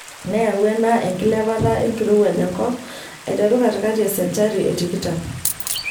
Neyau ena enkilepata enkirowuaj enkop aiteru katikati e senchari e tikitam.